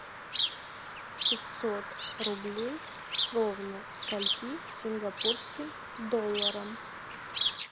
пятьсот рублей ровно скольки сингапурским долларам